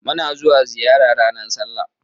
Muna zuwa ziyara ranar sallah